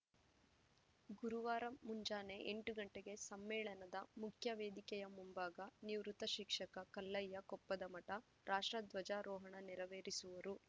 ಗುರುವಾರ ಮುಂಜಾನೆ ಎಂಟು ಗಂಟೆಗೆ ಸಮ್ಮೇಳನದ ಮುಖ್ಯವೇದಿಕೆಯ ಮುಂಭಾಗ ನಿವೃತ್ ಶಿಕ್ಷಕ ಕಲ್ಲಯ್ಯ ಕೊಪ್ಪದಮಠ ರಾಷ್ಟ್ರಧ್ವಜಾರೋಹಣ ನೇರವೇರಿಸುವರು